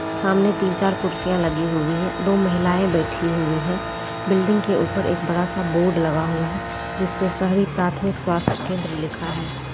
सामने तीन-चार कुर्सियां लगी हुई है दो महिलाएं बैठी हुई है बिल्डिंग के ऊपर एक बड़ा-सा बोर्ड लगा हुआ है जिस पे शहरी प्राथमिक स्वास्थ्य केंद्र लिखा है।